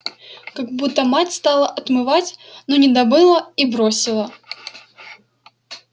как будто мать стала отмывать но не домыла и бросила